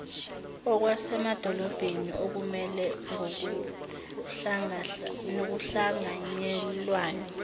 okwasemadolobheni okumela ngokuhlanganyelwayo